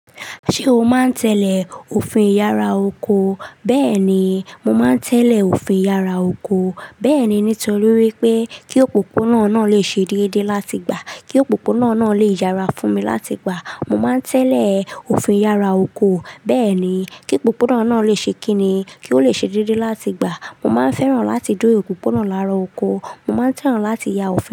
Ṣé o máa ń tẹ́lẹ̀ òfin ìyára oko? Bẹ́ẹ̀ ni, mo máa ń tẹ́lẹ̀ òfin ìyára oko. Bẹ́ẹ̀ ni, nítorí wípé kí òpópónà náà lè ṣe déédé láti gbà, kí òpópónà náà lè yára fún mi láti gbà. Mo máa ń tẹ́lẹ̀ òfin ìyára oko. Bẹ́ẹ̀ ni, kí òpópónà náà lè ṣe kínní, kí ó lè ṣe déédé láti gbà. Mo máa ń fẹ́ràn láti dúró òpópónà lára oko. Mo máa ń tẹ́ràn láti ya ọfin.